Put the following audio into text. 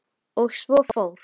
Og svo fór.